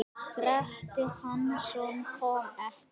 Grettir Hansson kom ekki.